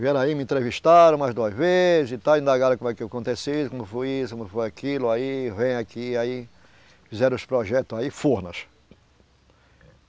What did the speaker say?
Vieram aí, me entrevistaram umas duas vezes e tal, indagaram como é que acontece isso, como foi isso, como foi aquilo, aí vem aqui, aí fizeram os projetos aí, Furnas.